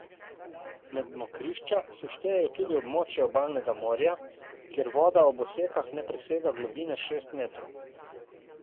Med mokrišča se štejejo tudi območja obalnega morja, kjer voda ob osekah ne presega globine šest metrov.